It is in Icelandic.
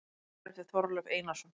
Bækur eftir Þorleif Einarsson